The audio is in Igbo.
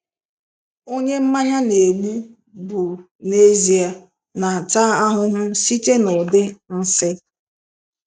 Onye mmanya na-egbu bụ n'ezie, na-ata ahụhụ site n'ụdị nsị.